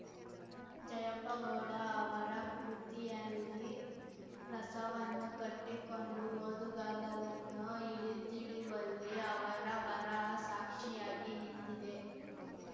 ಜಯಪ್ಪಗೌಡ ಅವರ ಕೃತಿಯಲ್ಲಿ ರಸವನ್ನು ಕಟ್ಟಿಕೊಂಡು ಓದುಗಾರರನ್ನು ಹಿಡಿದಿಡುವಲ್ಲಿ ಅವರ ಬರಹ ಸಾಕ್ಷಿಯಾಗಿ ನಿಂತಿದೆ